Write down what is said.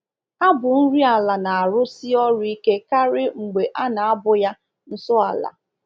Abụ nri ala na-arụsi ọrụ ike karị mgbe a na-abụ ya nso ala.